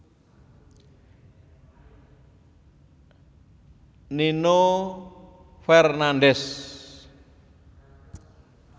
Nino Fernandez